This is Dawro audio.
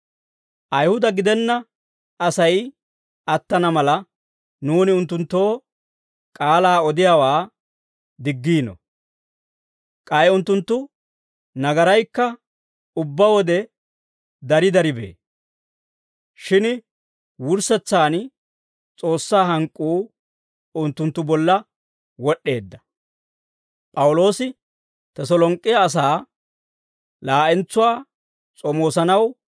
Ayihuda gidenna Asay attana mala, nuuni unttunttoo k'aalaa odiyaawaa diggiino. K'ay unttunttu nagaraykka ubbaa wode dari dari bee. Shin wurssetsaan S'oossaa hank'k'uu unttunttu bolla wod'd'eedda.